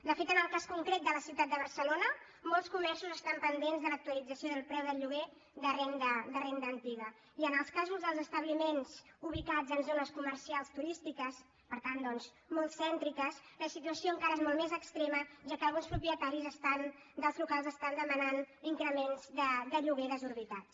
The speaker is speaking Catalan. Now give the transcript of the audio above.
de fet en el cas concret de la ciutat de barcelona molts comerços estan pendents de l’actualització del preu del lloguer de renda antiga i en els casos dels establiments ubicats en zones comercials turístiques per tant doncs molt cèntriques la situació encara és molt més extrema ja que alguns propietaris dels locals estan demanant increments de lloguer desorbitats